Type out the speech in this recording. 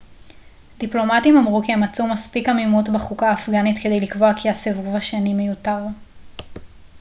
דיפלומטים אמרו כי הם מצאו מספיק עמימות בחוקה האפגנית כדי לקבוע כי הסיבוב השני מיותר